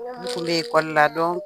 N kun bɛ ekɔli la